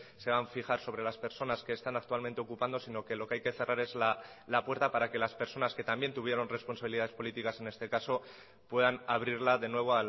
se deban a fijar sobre las personas que están actualmente ocupando sino lo que hay que cerrar es la puerta para que las personas que también tuvieron responsabilidades políticas en este caso puedan abrirla de nuevo